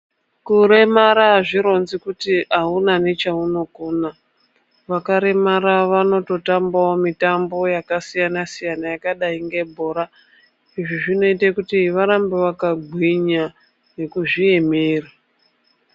Kuremara hazvironzi kuri hauna nechaunokona. Vakaremara vanototambavo mitambo yakasiyana siyana yakadai ngebhora. Izvi zvinote kuti varambe vakagwinya nekuzviemera.